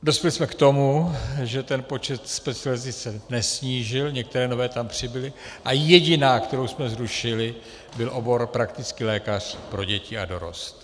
Dospěli jsme k tomu, že se počet specializací nesnížil, některé nové tam přibyly a jediná, kterou jsme zrušili, byl obor praktický lékař pro děti a dorost.